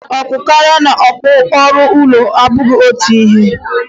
Akụ karịa na akụ ruo ụlọ abụghị otu ihe.